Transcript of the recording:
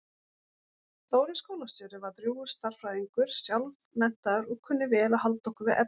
Þórir skólastjóri var drjúgur stærðfræðingur sjálfmenntaður og kunni vel að halda okkur við efnið.